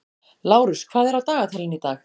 Lárus, hvað er á dagatalinu í dag?